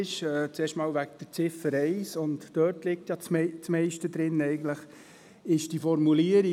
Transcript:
Zuerst zu Ziffer 1 – und darum geht es ja eigentlich vor allem.